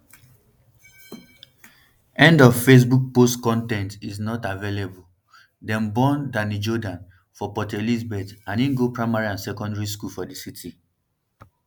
end of facebook post con ten t is not available dem born danny jordaan for port elizabeth and im go primary and secondary school for di city